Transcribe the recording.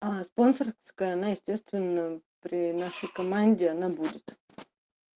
а спонсорская она естественно при нашей команде она будет